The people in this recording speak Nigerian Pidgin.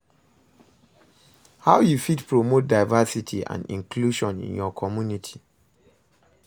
How you fit promote diversity and inclusion in your community?